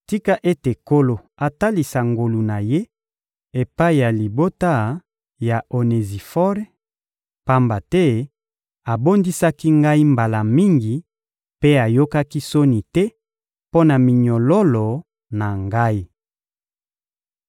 Tika ete Nkolo atalisa ngolu na Ye epai ya libota ya Onezifore, pamba te abondisaki ngai mbala mingi mpe ayokaki soni te mpo na minyololo na ngai.